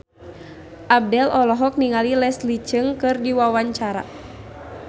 Abdel olohok ningali Leslie Cheung keur diwawancara